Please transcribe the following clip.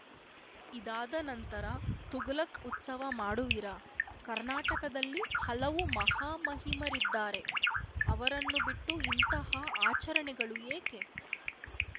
ಇದಾದ ನಂತರ ತುಘಲಕ್‌ ಉತ್ಸವ ಮಾಡುವಿರಾ ಕರ್ನಾಟಕದಲ್ಲಿ ಹಲವು ಮಹಾ ಮಹಿಮರಿದ್ದಾರೆ ಅವರನ್ನು ಬಿಟ್ಟು ಇಂತಹ ಆಚರಣೆಗಳು ಏಕೆ